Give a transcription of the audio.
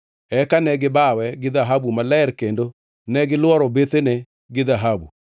Eka ne gibawe gi dhahabu maler kendo gilworo bethene gi dhahabu.